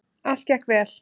Allt gekk vel.